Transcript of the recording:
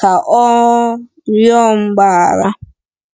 ka ọ um rịọ mgbaghara.